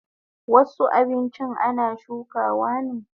Wasu abinchin ana shukawa ne